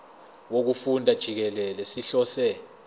wokufunda jikelele sihlose